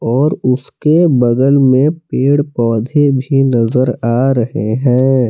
और उसके बगल में पेड़ पौधे भी नजर आ रहे हैं।